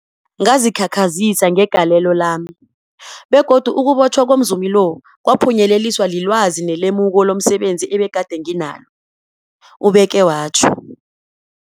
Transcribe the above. Ngazikhakhazisa ngegalelo lami, begodu ukubotjhwa komzumi lo kwaphunyeleliswa lilwazi nelemuko lomse benzi ebegade nginalo, ubeke watjho.